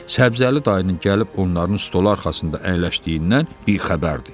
Səbzəli dayının gəlib onların stolu arxasında əyləşdiyindən bixəbərdir.